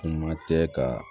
Kuma tɛ ka